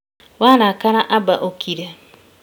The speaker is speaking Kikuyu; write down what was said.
Warakara amba ũkire